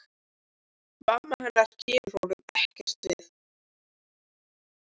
Mamma hennar kemur honum ekkert við.